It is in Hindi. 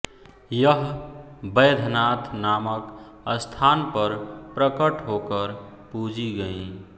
यह वैद्यनाथ नामक स्थान पर प्रकट होकर पूजी गईं